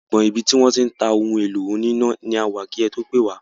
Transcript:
Agbọn ibi tí wọ́n ti ń ta ohun èlò oní iná ni a wà kí ẹ tó pè wá.